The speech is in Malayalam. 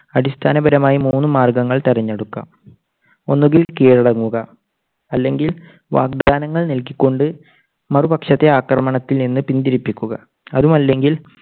അടിസ്ഥാനപരമായി മൂന്നുമാർഗ്ഗങ്ങൾ തെരഞ്ഞെടുക്കാം. ഒന്നുകിൽ കീഴടങ്ങുക. അല്ലെങ്കിൽ വാഗ്ദാനങ്ങൾ നൽകിക്കൊണ്ട് മറുപക്ഷത്തെ ആക്രമണത്തിൽ നിന്ന് പിന്തിരിപ്പിക്കുക. അതുമല്ലെങ്കിൽ